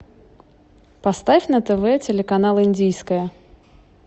поставь на тв телеканал индийское